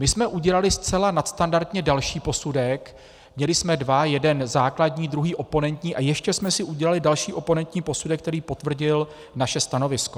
My jsme udělali zcela nadstandardně další posudek, měli jsme dva, jeden základní, druhý oponentní a ještě jsme si udělali další oponentní posudek, který potvrdil naše stanovisko.